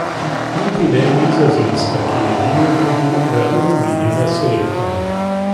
Niti ne Nizozemska, ki je, mimogrede, ravno menjala selektorja.